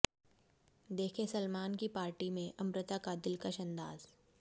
देखें सलमान की पार्टी में अमृता का दिलकश अंदाज